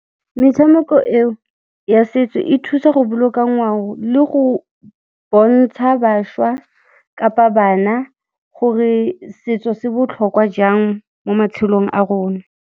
Metshameko eo ya setso e thusa go boloka ngwao le go bontsha bašwa kapa bana gore setso se botlhokwa jang mo matshelong a rona.